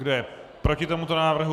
Kdo je proti tomuto návrhu?